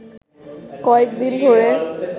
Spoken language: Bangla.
কয়েক দিন ধরে